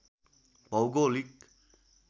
भौगोलिक